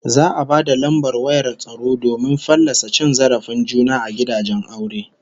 Za'a ba da lambar wayar tsaro domin fallasa cin zarafin juna a gidajen aure